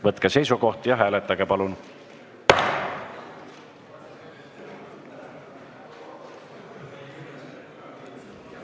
Võtke seisukoht ja hääletage, palun!